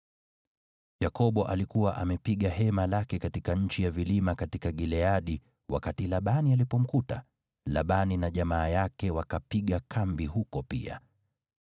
Yakobo alikuwa amepiga hema lake katika nchi ya vilima katika Gileadi wakati Labani alipomkuta, Labani na jamaa yake wakapiga kambi huko pia.